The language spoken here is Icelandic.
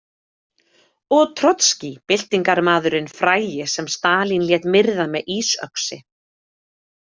Og Trotskí, byltingarmaðurinn frægi sem Stalín lét myrða með ísöxi.